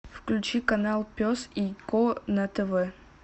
включи канал пес и ко на тв